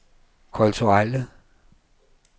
kulturelle